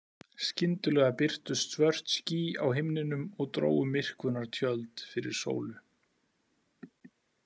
Skyndilega birtust svört ský á himninum og drógu myrkvunartjöld fyrir sólu.